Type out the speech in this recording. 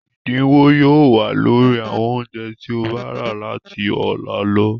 Ẹ̀dínwó yóò wà lórí àwọn oúnjẹ tí o bá rà láti ọ̀la lọ.